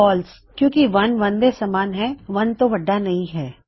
false ਕਿੳਂ ਕਿ 1 1 ਦੇ ਸਮਾਨ ਹੈ 1 ਤੋਂ ਵੱਢਾ ਨਹੀ ਹੈ